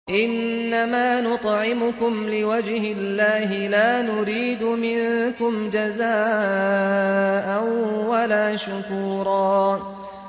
إِنَّمَا نُطْعِمُكُمْ لِوَجْهِ اللَّهِ لَا نُرِيدُ مِنكُمْ جَزَاءً وَلَا شُكُورًا